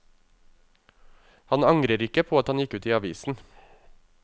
Han angrer ikke på at han gikk ut i avisen.